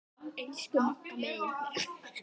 Elsku Magga mín.